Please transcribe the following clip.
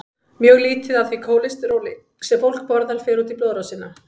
Mjög lítið af því kólesteróli sem fólk borðar fer út í blóðrásina.